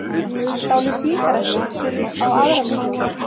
Stálu sígarettum fyrir á aðra milljón